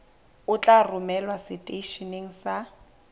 o tla romelwa seteisheneng sa